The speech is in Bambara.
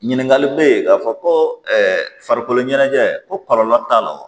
Ɲininkali bɛ ye k'a fɔ ko farikolo ɲɛnajɛ ko kɔlɔlɔ t'a la o